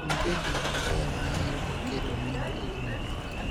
onge gima ber maingo keto mwandu e riwruok